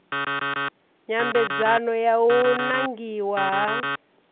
nyambedzano ya u nangiwa ha